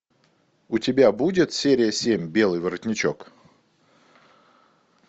у тебя будет серия семь белый воротничок